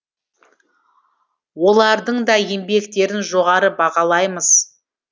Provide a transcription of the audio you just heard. олардың да еңбектерін жоғары бағалаймыз